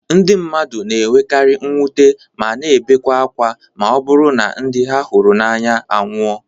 Ndị mmadụ na-enwekari mwute ma na ebekwe ákwá ma ọ bụrụ na ndị ha hụrụ n'anya anwụọ